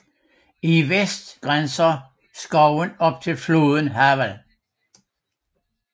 I vest grænser skoven op til floden Havel